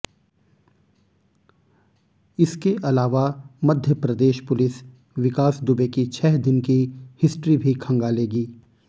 इसके अलावा मध्य प्रदेश पुलिस विकास दुबे की छह दिन की हिस्ट्री भी खंगालेगी